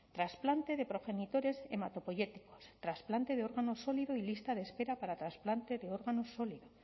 trasplante de progenitores hematopoyéticos trasplante de órganos sólidos y lista de espera para trasplante de órganos sólidos